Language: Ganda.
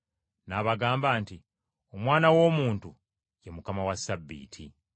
N’abagamba nti, “Omwana w’Omuntu, ye Mukama wa Ssabbiiti.”